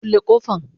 kulle kofan.